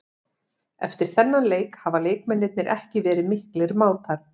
Eftir þennan leik hafa leikmennirnir ekki verið miklir mátar.